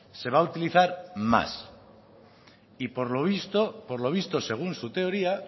se va a utilizar más y por lo visto por lo visto según su teoría